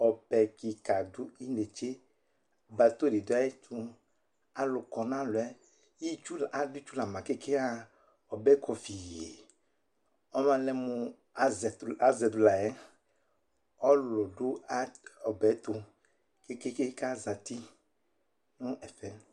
Ɔbɛ kɩka dɩ dʋ inetse Bato dɩ dʋ ayɛtʋ Alʋ kɔ nʋ alɔ yɛ Itsu la, adʋ itsu la ma kekeŋ yaɣa Ɔbɛ yɛ kɔ fii Ɔbalɛ mʋ azɛ tʋ azɛ dʋ la yɛ Ɔlʋlʋ dʋ ɔbɛ yɛ tʋ kekeŋ kʋ azati nʋ ɛfɛ